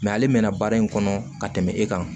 ale mɛnna baara in kɔnɔ ka tɛmɛ e kan